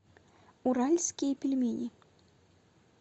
уральские пельмени